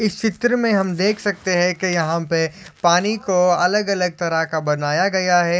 इस चित्र मे हम देख सकते है। के यहा पे पानी को अलग अलग तरह का बनाया गया है।